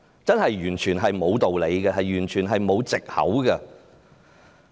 這是完全沒有道理，完全沒有卸責的藉口。